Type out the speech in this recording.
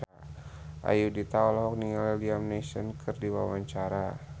Ayudhita olohok ningali Liam Neeson keur diwawancara